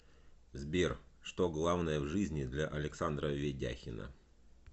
сбер что главное в жизни для александра ведяхина